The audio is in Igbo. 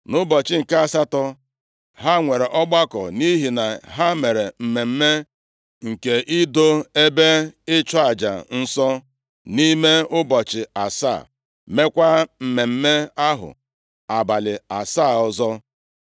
Nʼụbọchị nke asatọ, ha nwere ọgbakọ, nʼihi na ha mere mmemme nke ido ebe ịchụ aja nsọ nʼime ụbọchị asaa, meekwa mmemme + 7:9 Ya bụ, mmemme Ụlọ ikwu ahụ abalị asaa ọzọ.